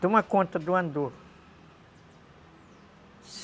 Toma conta do andor.